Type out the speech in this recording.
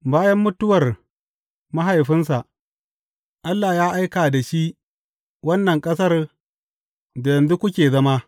Bayan mutuwar mahaifinsa, Allah ya aika da shi wannan ƙasar da yanzu kuke zama.